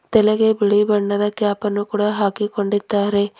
ತಲೆಗೆ ಬಿಳಿ ಬಣ್ಣದ ಕ್ಯಾಪ್ ಅನ್ನು ಕೂಡ ಹಾಕಿಕೊಂಡಿದ್ದಾರೆ.